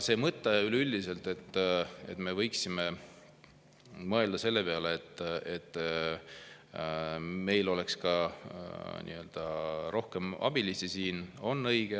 Üleüldiselt see, et me võiksime mõelda selle peale, et meil oleks siin rohkem abilisi, on õige.